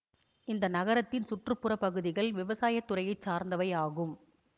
இந்த நகரத்தின் சுற்று புற பகுதிகள் விவசாய துறையை சார்ந்தவை ஆகும்